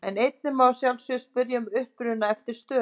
En einnig má að sjálfsögðu spyrja um uppruna eftir stöðum.